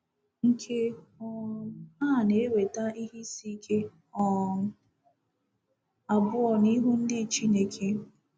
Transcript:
Nke um a na-eweta ihe isi ike um abụọ n’ihu ndị Chineke.